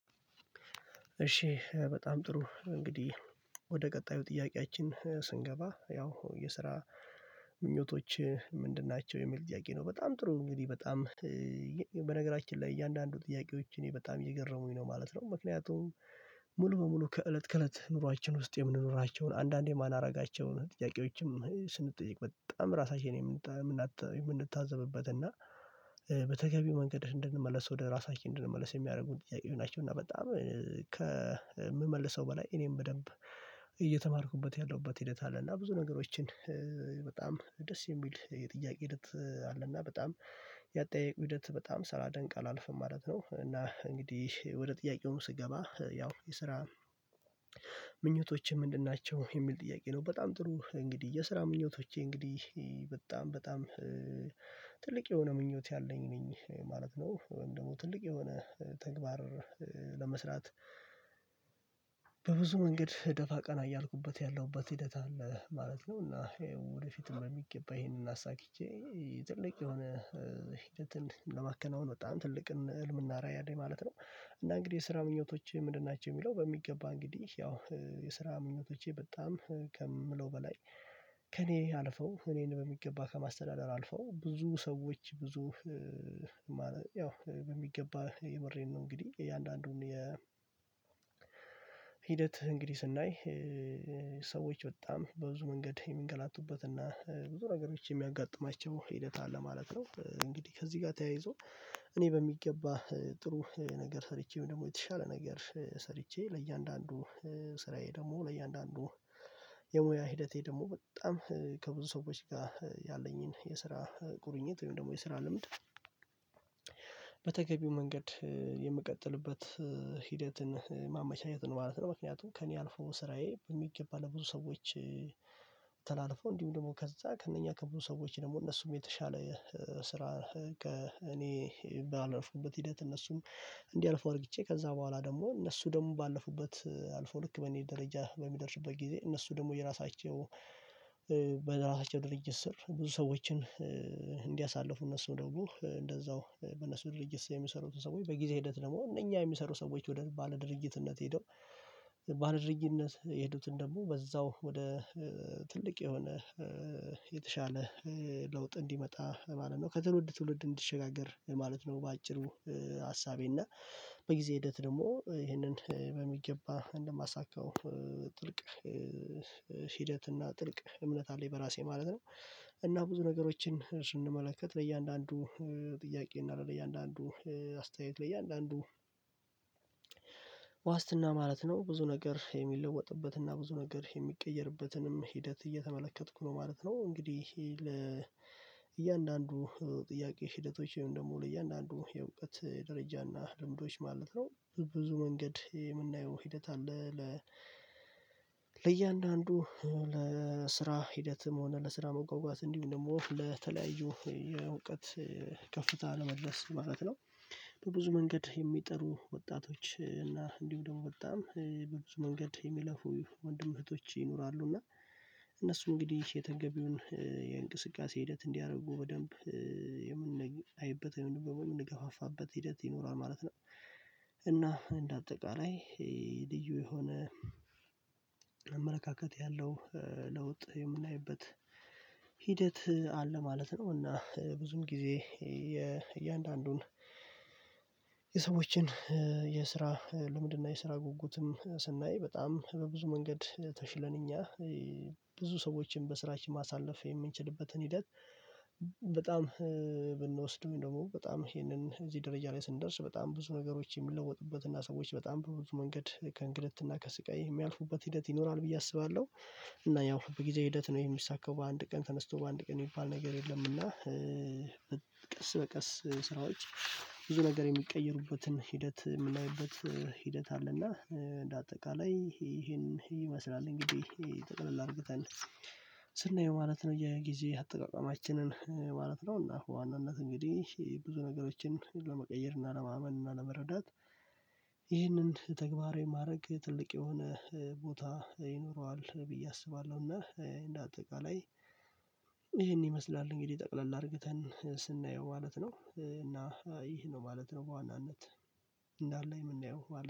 እሺ በጣም ጥሩ እንግዲህ ወደ ቀጣዩ ጥያቄያችን ስንገባ ያው የስራ ምኞቶችህ ምንድን ናቸው የሚል ጥያቄ ነው። በጣም ጥሩ እንግዲህ በጣም በነገራችን ላይ እያንዳንዱ ጥያቄዎች እኔ በጣም እየገረሙኝ ነው ማለት ነው። ምክንያቱም ሙሉ በሙሉ ከእለት ከእለት ኑሯችን ውስጥ የምንኖራቸውን አንዳንዴ ማላረጋቸውን ጥያቄዎችም ስንጠይቅ በጣም ራሳችንን የምንታዘብበት እና በተገቢው መንገድ እንድንመለስ ወደ ራሳችን እንድንመለስ የሚያደርጉን ጥያቄወች ናቸው። እና በጣም ከምመልሰው በላይ እኔም በደንብ እየተማርኩበት ያለሁበት ሂደት አለ እና ብዙ ነገሮችን ደስ የሚል የጥያቄ ሂደት አለና በጣም ያጠያየቁ ሂደት በጣም ሳላደንቅ አላልፍም ማለት ነው። እና እንግዲህ ወደ ጥያቄው ስገባ ያው ስራ ምኞቶችህ ምንድን ናቸው የሚል ጥያቄ ነው። በጣም ጥሩ እንግዲህ የስራ ምኞቶቼ እንግዲህ በጣም በጣም ትልቅ የሆነ ምኞት ያለኝ ነኝ ማለት ነው። ወይም ደግሞ ትልቅ የሆነ ተግባር ለመስራት በብዙ መንገድ ደፋ ቀና እያልኩበት ያለሁበት ሂደት አለ ማለት ነው። እና ወደፊትም በሚገባ ይሄንን አሳክቼ ትልቅ የሆነ ሂደትን ለማከናወን በጣም ትልቅን ህልምና ራዕይ አለኝ ማለት ነው። እና እንግዲህ የስራ ምኞቶችህ ምንድን ናቸው የሚለው በሚገባ እንግዲህ ያው የስራ ምኞቶቼ በጣም ከምለው በላይ ከእኔ አልፈው እኔን በሚገባ ከማስተዳደር አልፈው ብዙ ሰዎች ብዙ ያው በሚገባ የምሬን ነው እንግዲህ እያንዳንዱን የ ሂደት እንግዲህ ስናይ ሰዎች በጣም በብዙ መንገድ የሚንገላቱበት እና ብዙ ነገሮች የሚያጋጥማቸው ሂደት አለ ማለት ነው። እንግዲህ ከዚህ ጋር ተያይዞ እኔ በሚገባ ጥሩ ነገር ሰርቼ ወይም ደግሞ የተሻለ ነገር ሰርቼ ለእያንዳንዱ ስራዬ ደግሞ ለእያንዳንዱ የሙያ ሂደቴ ደግሞ በጣም ከብዙ ሰዎች ጋር ያለኝን የስራ ቁርኝት ወይም ደግሞ የስራ ልምድ በተገቢው መንገድ የምቀጥልበት ሂደትን ማመቻቸትን ማለት ነው። ምክንያቱም ከእኔ አልፎ ስራዬ በሚገባ ለብዙ ሰዎች ተላልፎ እንዲሁም ደግሞ ከዛ ከእነኛ ከብዙ ሰዎች ደግሞ እነሱም የተሻለ ስራ ከእኔ ባለፍኩበት ሂደት እነሱም እንዲያልፉ አርግቼ ከዛ በኋላ ደግሞ እነሱ ደግሞ ባለፉበት አልፈው ልክ በእኔ ደረጃ በሚደርሱበት ጊዜ እነሱ ደግሞ የራሳቸው በራሳቸው ድርጅት ስር ብዙ ሰዎችን እንዲያሳልፉ እነሱ ደግሞ እንደዛው በነሱ ድርጅት የሚሰሩትን ሰዎች በጊዜ ሂደት ደግሞ እነኛ የሚሰሩ ሰዎች ወደ ባለድርጅትነት ሄደው ባለድርጅነት የሄዱትን ደግሞ በዛው ወደ ትልቅ የሆነ ለውጥ እንዲመጣ ማለት ነው ከትውልድ ትውልድ እንዲሸጋገር ማለት ነው። በአጭሩ ሀሳቤ እና በጊዜ ሂደት ደግሞ ይህንን በሚገባ እንደማሳካው ጥልቅ ሂደት እና ጥልቅ እምነት አለኝ በራሴ ማለት ነው። እና ብዙ ነገሮችን ስንመለከት ለእያንዳንዱ ጥያቄ እና ለእያንዳንዱ አስተያየት ለእያንዳንዱ ዋስትና ማለት ነው ብዙ ነገር የሚለወጥበትና ብዙ ነገር የሚቀየርበትንም ሂደት እየተመለከትኩ ነው ማለት ነው። እንግዲህ ይሄ ለ እያንዳንዱ ጥያቄ ሂደቶች ወይም ደግሞ ለእያንዳንዱ የእውቀት ደረጃና ልምዶች ማለት ነው ብብዙ መንገድ የምናየው ሂደት አለ። ለእያንዳንዱ ለስራ ሂደትም ሆነ ለስራ መጓጓት እንዲሁም ደግሞ ለተለያዩ የእውቀት ከፍታ ለመድረስ ማለት ነው። በብዙ መንገድ የሚጥሩ ወጣቶች እና እንዲሁም ደግሞ በጣም በብዙ መንገድ የሚለፉ ወንድም እህቶች ይኖራሉ እና እነሱ እንግዲህ የተገቢውን የእንቅስቃሴ ሂደት እንዲያደርጉ በደንብ የምንአይበት ወይም ደግሞ የምንገፋፋበት ሂደት ይኖራል ማለት ነው። እና እንደ አጠቃላይ ይሄ ልዩ የሆነ አመለካከት ያለው ለውጥ የምናይበት ሂደት አለ ማለት ነው። እና ብዙም ጊዜ የእያንዳንዱን የሰዎችን የስራ ልምድ እና የስራ ጉጉትም ስናይ በጣም በብዙ መንገድ ተሽለን እኛ ብዙ ሰዎችን በስራችን ማሳለፍ የምንችልበትን ሂደት በጣም ብንወስድም ደግሞ በጣም ይሄንን እዚህ ደረጃ ላይ ስንደርስ በጣም ብዙ ነገሮች የሚለወጡበት እና ሰዎች በጣም በብዙ መንገድ ከእንግልት እና ከስቃይ የሚያልፉበት ሂደት ይኖራል ብዬ አስባለሁ። እና ያው በጊዜ ሂደት ነው ይሄ የሚሳካው በአንድ ቀን ተነስቶ በአንድ ቀን የሚባል ነገር የለም። እና ቀስ በቀስ ስራዎች ብዙ ነገር የሚቀየሩበትን ሂደት የምናይበት ሂደት አለና እንደ አጠቃላይ ይሄን ይመስላል እንግዲህ ይሄ ጠቅለል አርግተን ስናየው ማለት ነው። የጊዜ አጠቃቀማችንን ማለት ነው እና በዋናነት እንግዲህ ብዙ ነገሮችን ለመቀየር እና ለማመን እና ለመረዳት ይህንን ተግባራዊ ማድረግ ትልቅ የሆነ ቦታ ይኖረዋል ብዬ አስባለሁና። እንደ አጠቃላይ ይሄን ይመስላል እንግዲህ ጠቅለል አርግተን ስናየው ማለት ነው። እና ይህ ነው ማለት ነው። በዋናነት እንዳለ የምናየው